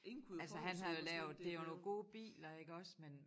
Altså han har jo lavet det jo nogle gode biler iggås men